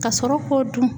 Ka sɔrɔ k'o dun